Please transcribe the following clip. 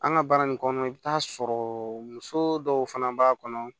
An ka baara in kɔnɔna i bɛ t'a sɔrɔ muso dɔw fana b'a kɔnɔ